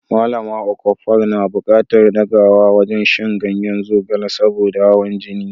Malama Okafor na buƙatar dagewa wajen shan ganyen zogale saboda hawan jini.